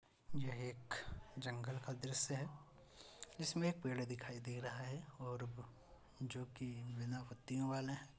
एक जंगल का दृश्य है जिसमें एक पेड़ दिखाई दे रहा है और वो जो कि बिना पत्तियों वाला है।